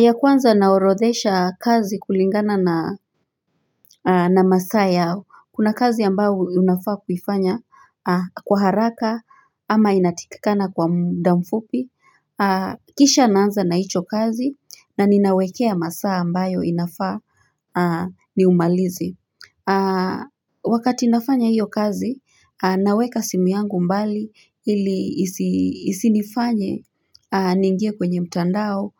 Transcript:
Ya kwanza naorodhesha kazi kulingana na masaa yao. Kuna kazi ambao unafaa kufanya kwa haraka ama inatakikana kwa mda mfupi. Kisha naanza na hicho kazi na ninawekea masaa ambayo inafaa niumalize. Wakati nafanya hiyo kazi, naweka simu yangu mbali ili isinifanye niingie kwenye mtandao